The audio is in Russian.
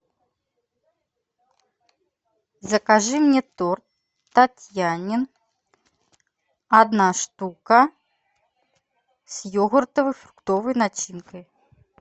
закажи мне торт татьянин одна штука с йогуртовой фруктовой начинкой